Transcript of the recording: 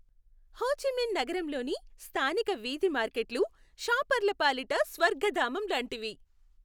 హో Chi Minh నగరంలోని స్థానిక వీధి మార్కెట్లు షాపర్ల పాలిట స్వర్గధామం లాంటివి.